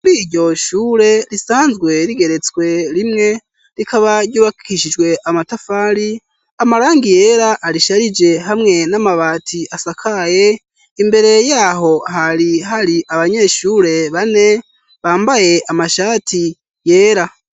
Bi ryo shure risanzwe rigeretswe rimwe rikaba ryubakishijwe amatafari amaranga yera arisharije hamwe n'amabati asakaye imbere yaho hari hari abanyeshure bane bambaye amashati yera.